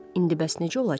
İndi bəs necə olacaq?